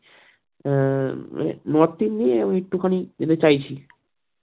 হ্যাঁ মানে north এ গিয়ে একটুখানি যেটা চাইছি।